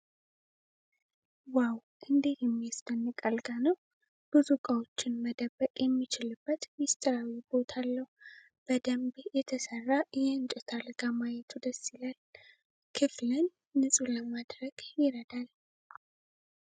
ዋው! እንዴት የሚያስደንቅ አልጋ ነው! ብዙ እቃዎችን መደበቅ የሚችልበት ሚስጥራዊ ቦታ አለው! በደንብ የተሰራ የእንጨት አልጋ ማየቱ ደስ ይላል፤ ክፍልን ንፁህ ለማድረግ ይረዳል!